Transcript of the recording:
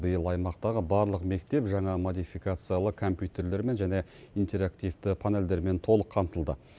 биыл аймақтағы барлық мектеп жаңа модификациялы компьютерлермен және интерактивті панельдермен толық қамтылды